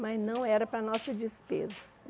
Mas não era para nossa despesa.